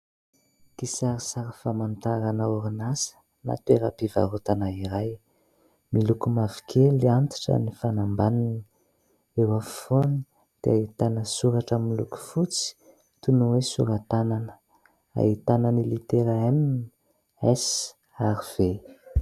Kisarisary famantarana orinasa na toeram-pivarotana iray, miloko mavokely antitra ny fanambaniny eo afovoany dia ahitana soratra miloko fotsy toy ny hoe sora-tanana, ahitana ny litera ''M'' , ''S'' ary ''V'' .